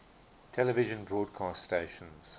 television broadcast stations